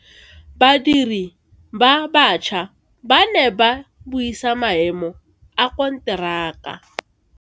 Badiri ba baša ba ne ba buisa maemo a konteraka.